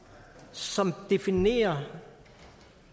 som definerer